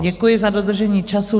Děkuji za dodržení času.